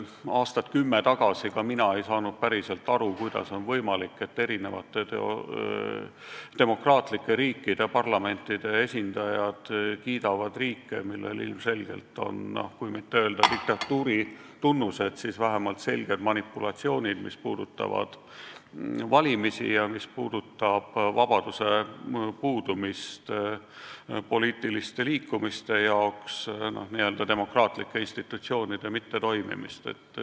Aastat kümme tagasi ei saanud ka mina päriselt aru, kuidas on võimalik, et demokraatlike riikide parlamentide esindajad kiidavad riike, mida iseloomustavad, noh, kui mitte öelda, et diktatuuri tunnused, siis vähemalt selged manipulatsioonid, mis puudutavad valimisi, kus pole poliitiliste liikumiste vabadust ja kus demokraatlikud institutsioonid ei toimi.